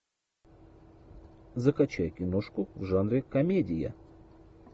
закачай киношку в жанре комедия